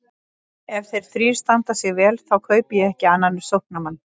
Ef þeir þrír standa sig vel þá kaupi ég ekki annan sóknarmann.